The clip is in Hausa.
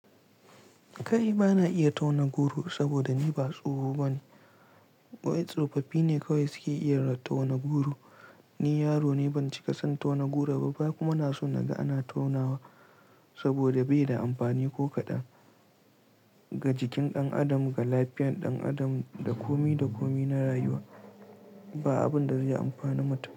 Kai ba na iya tauna goro saboda ni ba tsoho bane. Waɗansu tsofaffi ne kawai suke iya tauna goro Ni yaro ne, ban cika san tauna goro ba kuma na so na ga ana tonawa saboda bai da amfani ko kaɗan ga jikin ɗan adam, ga lafiyar ɗan adam da kome da kome na rayuwa. Ba abun da zai yi amfani mutum.